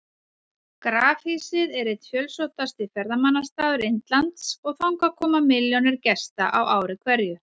Grafhýsið er einn fjölsóttasti ferðamannastaður Indlands og þangað koma milljónir gesta á ári hverju.